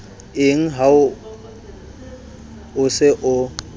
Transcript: eng ha o se o